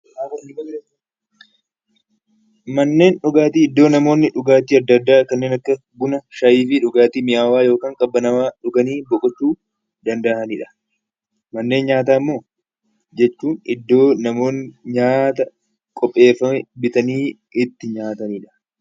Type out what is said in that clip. Manneen dhugaatii iddoo namoonni dhugaatiinadda addaa kanneen akka buna, shayii fi dhugaatii minyaawaa yookaan qabbanaawaa dhuganii boqochuu danda'anidha. Manneen nyaataa immoo jechuun iddoo namoonni nyaata qopheeffame bitanii itti nyaatanidha.